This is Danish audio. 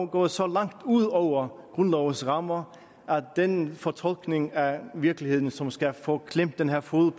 gået så langt ud over grundlovens rammer at den fortolkning af virkeligheden som skal få klemt den her fod